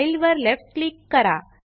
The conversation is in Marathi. फाइल वर लेफ्ट क्लिक करा